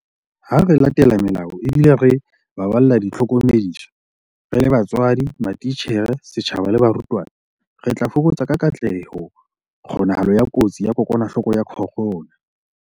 Ha re latela melao ebile re baballa ditlhokomediso - re le batswadi, matitjhere, setjhaba le barutwana - re tla fokotsa ka katleho kgonahalo ya kotsi ya kokwanahloko ya corona.